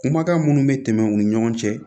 Kumakan minnu bɛ tɛmɛ u ni ɲɔgɔn cɛ